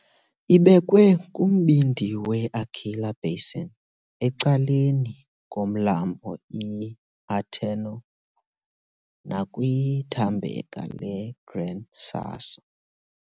Ibekwe kumbindi we- Aquila basin, ecaleni komlambo iAterno nakwithambeka leGran Sasso.